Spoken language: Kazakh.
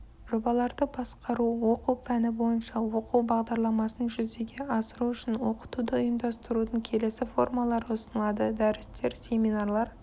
жобаларды басқару оқу пәні бойынша оқу бағдарламасын жүзеге асыру үшін оқытуды ұйымдастырудың келесі формалары ұсынылады дәрістер семинарлар